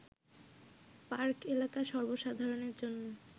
park এলাকা সর্ব সাধারণের জন্য